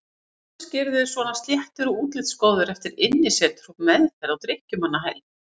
Kannski eru þeir svona sléttir og útlitsgóðir eftir innisetur og meðferð á drykkjumannahæli.